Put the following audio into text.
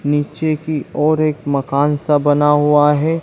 नीचे की ओर एक मकान सा बना हुआ है।